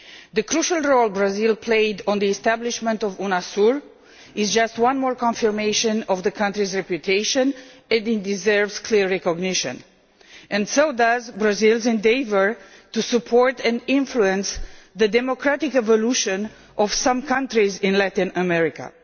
The crucial role Brazil played in the establishment of UNASUR is just one more confirmation of the country's reputation and deserves clear recognition, as does Brazil's endeavour to support and influence the democratic evolution of some countries in Latin America.